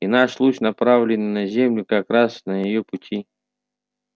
и наш луч направленный на землю как раз на её пути